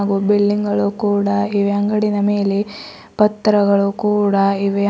ಹಾಗೂ ಬಿಲ್ಡಿಂಗ್ ಗಳು ಕೂಡ ಇವೆ ಅಂಗಡಿನ ಮೇಲೆ ಪತ್ರಗಳು ಕೂಡ ಇವೆ.